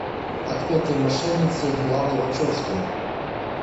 отпетые мошенницы ланы вачевски